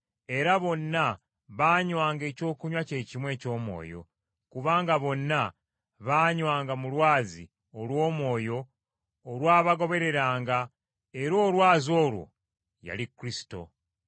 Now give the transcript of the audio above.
era bonna baanywanga ekyokunywa kye kimu eky’omwoyo, kubanga bonna baanywanga mu lwazi olw’omwoyo olwabagobereranga era olwazi olwo yali Kristo.